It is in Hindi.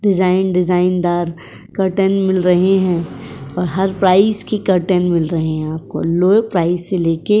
डिज़ाइन डिज़ाइनदार कर्टन मिल रहे हैं और हर प्राइस की कर्टन मिल रहे हैं आपको। लो प्राइस से लेके --